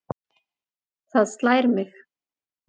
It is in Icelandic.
Það slær mig.